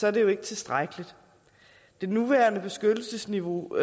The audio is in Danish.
er det ikke tilstrækkeligt det nuværende beskyttelsesniveau